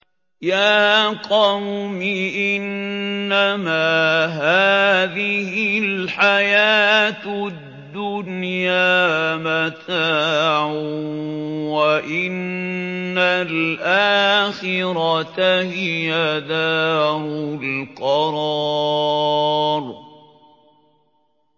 يَا قَوْمِ إِنَّمَا هَٰذِهِ الْحَيَاةُ الدُّنْيَا مَتَاعٌ وَإِنَّ الْآخِرَةَ هِيَ دَارُ الْقَرَارِ